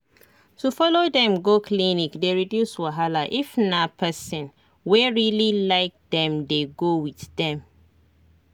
to follow dem go clinic dey reduce wahala if na person wey really like them dey go with dem